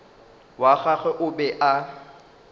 wa gagwe o be a